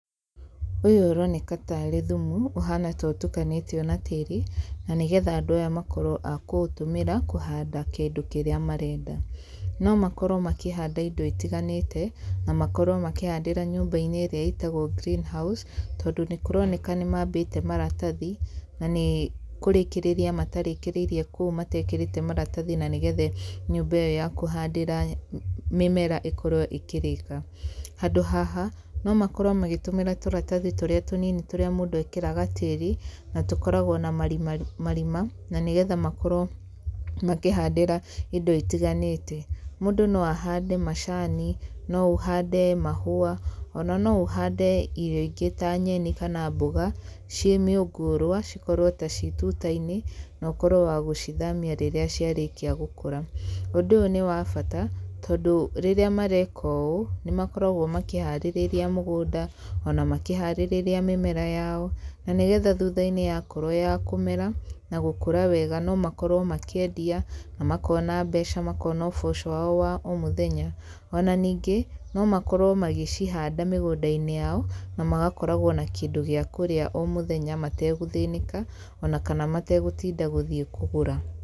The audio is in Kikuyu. Ũyũ ũroneka ta arĩ thumu, ũhana ta ũtukanĩtio na tĩĩri, na nĩgetha andũ aya makorwo a kũũtũmĩra kũhanda kĩndũ kĩrĩa marenda. No makorwo makĩhanda indo itiganĩte, na makorwo makĩhandĩra nyũmba-inĩ ĩrĩa ĩtagwo green house, tondũ nĩ kũroneka nĩ mambĩte maratathi, na nĩ kũrĩkĩrĩria matarĩkĩrĩirie kũu matekĩrĩte maratathi, na nĩgetha nyũmba ĩyo ya kũhandĩra mĩmera ĩkorwo ĩkĩrĩka. Handũ haha, no makorwo magĩtũmĩra tũratathi tũrĩa tũnini tũrĩa mũndũ ekĩraga tĩri, na tũkoragwo na marima marima, na nĩgetha makorwo makĩhandĩra indo itiganĩte. Mũndũ no ahande macani, no ũhande mahũa, ona no ũhande irio ingĩ ta nyeni kana mboga, ciĩ mĩũngũrwa, cikorwo ta ci tuta-inĩ, na ũkorwo wa gũcithamia rĩrĩa ciarĩkia gũkũra. Ũndũ ũyũ nĩ wa bata, tondũ rĩrĩa mareka ũũ, nĩ makoragwo makĩharĩrĩria mũgũnda, ona makĩharĩrĩria mĩmera yao, na nĩgetha thutha-inĩ yakorwo ya kũmera na gũkũra wega no makorwo makĩendia, makona mbeca, makona ũboco wao wa o mũthenya. Ona ningĩ, no makorwo magĩcihanda mĩgũnda-inĩ yao, na magakoragwo na kĩndũ gĩa kũrĩa o mũthenya mategũthĩnĩka, ona kana mategũtinda gũthiĩ kũgũra.